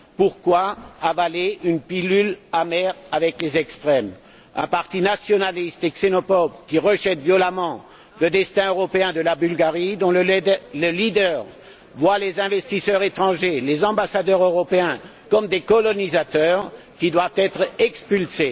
Pourquoi avaler une pilule amère avec les extrêmes, un parti nationaliste et xénophobe, qui rejette violemment le destin européen de la Bulgarie, dont le leader voit les investisseurs étrangers, les ambassadeurs européens, comme des colonisateurs qui doivent être expulsés?